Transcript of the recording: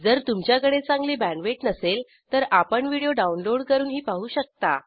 जर तुमच्याकडे चांगली बॅण्डविड्थ नसेल तर आपण व्हिडिओ डाउनलोड करूनही पाहू शकता